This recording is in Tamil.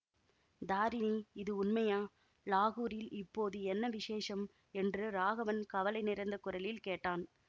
தாரிணி இது உண்மையா லாகூரில் இப்போது என்ன விசேஷம் என்று ராகவன் கவலை நிறைந்த குரலில் கேட்டான்